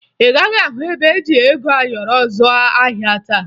Ị gaghị ahụ ebe eji ego ayọrọ azụ ahịa taa